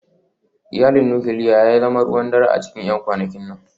Iyalin nukiliya ya zama ruwan dare a cikin 'yan kwanakin nan